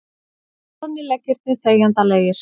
Loðnir leggirnir þegjandalegir.